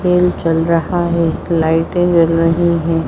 खेल चल रहा है लाइटे जल रही है।